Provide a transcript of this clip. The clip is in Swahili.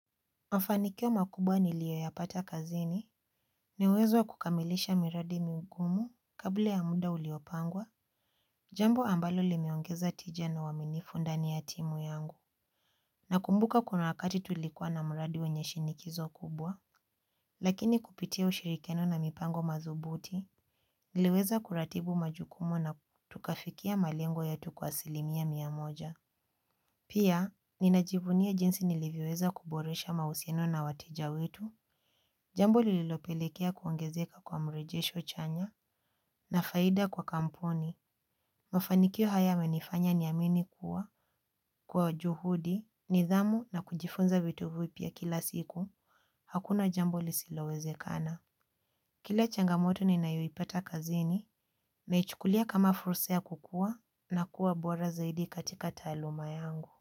Mafanikyo makubwa niliyo ya pata kazini. Niuwezo kukamilisha miradi migumu kabla ya muda uliopangwa. Jambo ambalo limeongeza tija na waminifu ndani ya timu yangu. Nakumbuka kuna wakati tulikuwa na muradi wenye shinikizo kubwa. Lakini kupitia ushirikiano na mipango madubuti. Niliweza kuratibu majukumu na tukafikia malengo yetu kwasilimia miamoja. Pia, ninajivunia jinsi nilivioweza kuboresha mausiano na wateja wetu. Jambo lililopelekea kuongezeka kwa mrejesho chanya na faida kwa kampuni. Mafanikio haya yamenifanya niyamini kuwa kwa juhudi, nidhamu na kujifunza vitu vipia kila siku. Hakuna jambo lisilowezekana. Kila changamoto ninayoipata kazini naichukulia kama furusa kukua na kuwa bora zaidi katika taluma yangu.